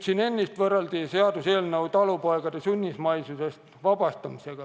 Siin ennist võrreldi seda seaduseelnõu paarisaja aasta taguse talupoegade sunnismaisusest vabastamisega.